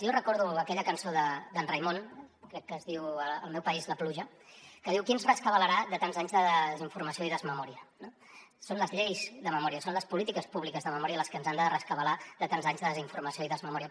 jo recordo aquella cançó d’en raimon crec que es diu al meu país la pluja que diu qui em rescabalarà de tants anys de desinformació i desmemòria no són les lleis de memòria són les polítiques públiques de memòria les que ens han de rescabalar de tants anys de desinformació i desmemòria